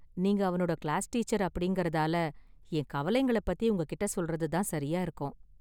நீங்க அவனோட class teacher அப்படிங்கறதால, என் கவலைங்கள பத்தி உங்ககிட்ட சொல்றது தான் சரியா இருக்கும்.